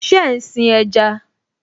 Ṣe ń sin ẹja?